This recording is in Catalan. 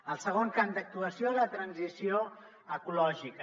el segon camp d’actuació la transició ecològica